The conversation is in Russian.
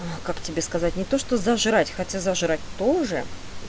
как тебе сказать не то что за жрать хотят за жрать тоже